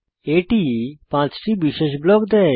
এটি 5 টি বিশেষ ব্লক দেয়